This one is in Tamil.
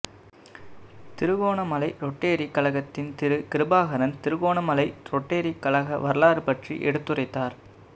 திருகோணமலை ரொட்டறி கழகத்தின் திரு கிருபாகரன் திருகோணமலை ரொட்டறி கழக வரலாறு பற்றி எடுத்துரைத்தார்